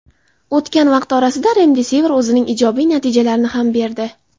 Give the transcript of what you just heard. O‘tgan vaqt orasida "Remdesivir" o‘zining ijobiy natijalarini ham berdi.